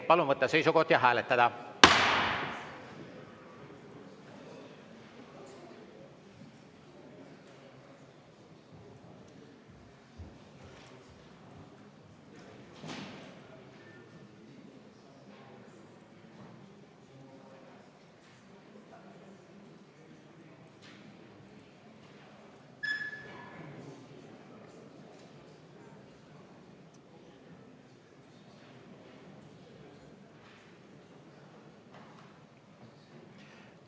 Palun võtta seisukoht ja hääletada!